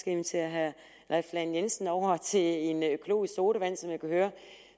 invitere herre leif lahn jensen over til en økologisk sodavand som jeg kunne høre at